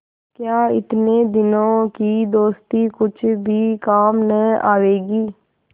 क्या इतने दिनों की दोस्ती कुछ भी काम न आवेगी